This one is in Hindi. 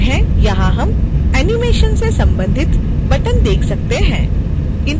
यहाँ हम animation से संबंधित बटन देख सकते हैं